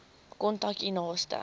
kontak u naaste